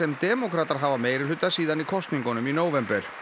demókratar hafa meirihluta síðan í kosningunum í nóvember